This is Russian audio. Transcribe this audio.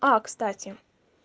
а кстати